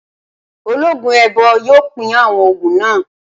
Ológun èèbó yóò pín àwọn ògùn náà